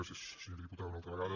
gràcies senyora diputada una altra vegada